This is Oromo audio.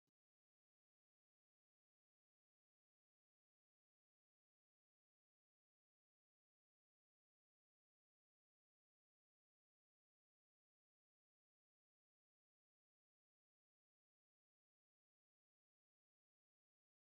Suura kana irratti kan mul'atu gosa dibataa keessaa tokko yommuu ta'uu gosti dibataa kunis kunis kan rifeensa miidhagsuuf dhimma itti bahanidha. Rifeensi miidhagina namaa kan dabaluu waan ta’eef qabiinsa isaa tolchuun gaariidha.